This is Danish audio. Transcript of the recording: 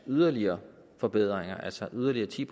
yderligere forbedringer altså yderligere ti